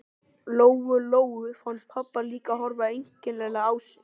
Lóu Lóu fannst pabbi líka horfa einkennilega á sig.